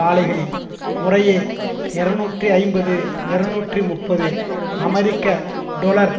ஆலைகளில் முறையே இருநூற்றி ஐம்பது இருநூற்றி முப்பது அமெரிக்க டொலர்